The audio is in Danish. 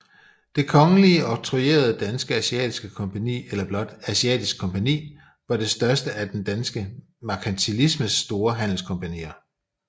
Det Kongelige Octroyerede Danske Asiatiske Kompagni eller blot Asiatisk Kompagni var det største af den danske merkantilismes store handelskompagnier